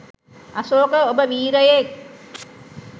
අශෝක ඔබ වීරයෙක්